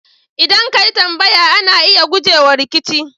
ldan ka yi tambaya, ana iya guje wa rikici.